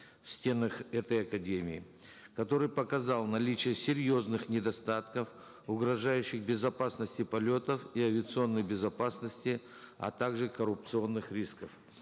в стенах этой академии который показал наличие серьезных недостатков угрожающих безопасности полетов и авиационной безопасности а также коррупционных рисков